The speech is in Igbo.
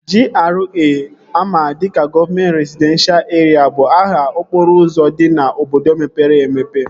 GRA ama dịka gọvamet rezidenshal erịa bụ aha okporo ụzọ dị n'obodo mepere emepe